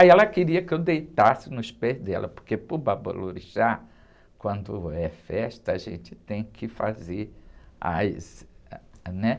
Aí ela queria que eu deitasse nos pés dela, porque para o babalorixá, quando é festa, a gente tem que fazer as... Né?